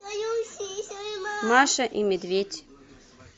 маша и медведь